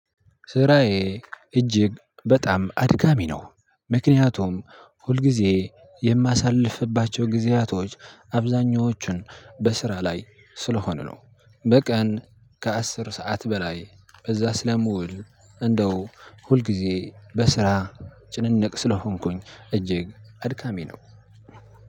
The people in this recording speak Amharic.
ስራዬ እጅግ በጣም አድካሚ ነው። ምክንያቱም ሁልጊዜ የማሳልፍባቸው ጊዜያቶች አብዛኞቹን በስራ ላይ ስለሆኑ ነው። በቀን ከአስር ሰዓት በላይ በዛ ስለምውል። እንደው ሁልጊዜ በስራ ጭንነቅ ስለሆንኩኝ እጅግ አድካሚ ነው።